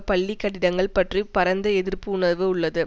பள்ளி கட்டிடங்கள் பற்றி பரந்த எதிர்ப்பு உணர்வு உள்ளது